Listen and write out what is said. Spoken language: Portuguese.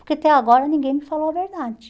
Porque até agora ninguém me falou a verdade.